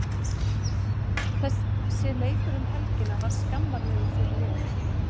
Þessi leikur um helgina var skammarlegur fyrir liðið.